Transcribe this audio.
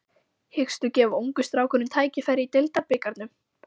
Hyggstu gefa ungu strákunum tækifæri í Deildabikarnum?